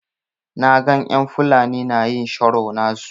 Na gan en Fulani na yin sharo nasu.